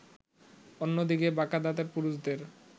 অন্যদিকে বাঁকা দাঁতের পুরুষদের